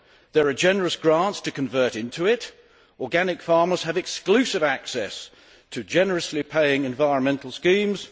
There are generous grants to convert into it organic farmers have exclusive access to generously paying environmental schemes